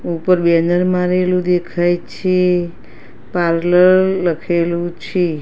ઉપર બેનર મારેલું દેખાય છે પાર્લર લખેલું છે.